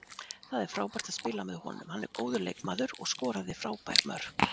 Það var frábært að spila með honum, hann er góður leikmaður og skoraði frábær mörk.